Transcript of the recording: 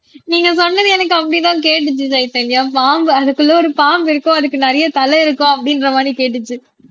நீங்க சொன்னது எனக்கு அப்படித்தான் கேட்டுச்சு சைதன்யா பாம்பு அதுக்குள்ள ஒரு பாம்பு இருக்கும் அதுக்கு நிறைய தலை இருக்கும் அப்படின்ற மாதிரி கேட்டுச்சு